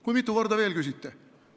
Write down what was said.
Kui mitu korda te veel küsite?